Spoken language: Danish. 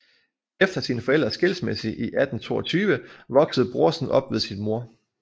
Efter sine forældres skilsmisse i 1822 voksede Brorsen op ved sin mor